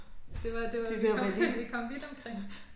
Det var det var vi kom vi kom vidt omkring